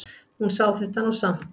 Hún sá þetta nú samt.